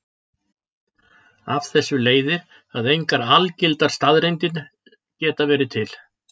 Af þessu leiðir að engar algildar staðreyndir geta verið til.